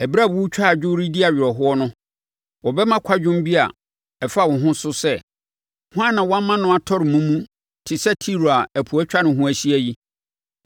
Ɛberɛ a wɔretwa adwo redi awerɛhoɔ no, wɔbɛma kwadwom bi a ɛfa wo ho so sɛ: “Hwan na wama no atɔre mumu te sɛ Tiro a ɛpo atwa ne ho ahyia yi?”